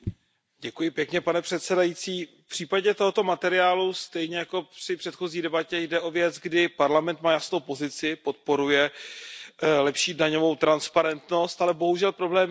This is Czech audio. Pane předsedající, v případě tohoto materiálu stejně jako při předchozí debatě jde o věc, kdy Parlament má jasnou pozici, podporuje lepší daňovou transparentnost, ale bohužel problém je v Radě.